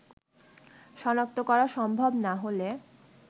শনাক্ত করা সম্ভব না হলে